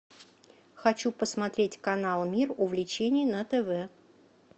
хочу посмотреть канал мир увлечений на тв